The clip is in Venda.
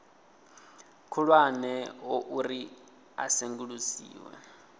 khulwane ho uri a sengulusiwe